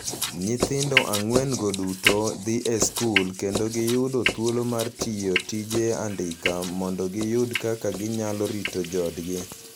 Nyithindo ang'wen-go duto dhi e skul, kendo giyudo thuolo mar tiyo tije andika mondo giyud kaka ginyalo rito joodgi.